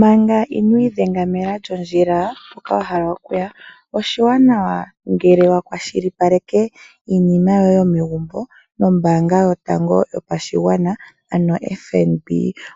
Manga ino idhengaela lyondjila woka wahala okuya oshiwanawa ngele wa kwashilipaleka iinima yoye yomegumbo nombaanga yotango yopashigwana ano FNB